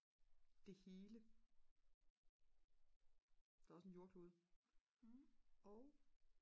det hele der er også en jordklode og